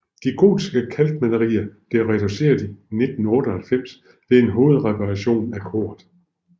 De gotiske kalkmalerier blev reduceret i 1998 ved en hovedreparation af koret